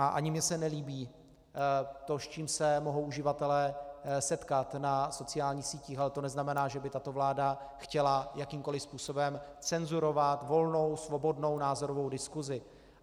A ani mně se nelíbí to, s čím se mohou uživatelé setkat na sociálních sítích, ale to neznamená, že by tato vláda chtěla jakýmkoliv způsobem cenzurovat volnou svobodnou názorovou diskusi.